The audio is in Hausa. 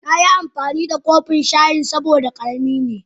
Na ki amfani da kofin shayin saboda karemi ne.